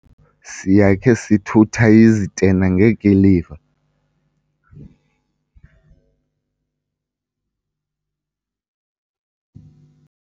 siyakhe sithutha izitena ngekiliva.